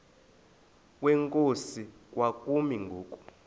kwenkosi kwakumi ngoku